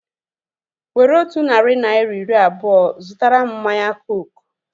Were otu narị naira iri abụọa zụtara mụ mmanya kooku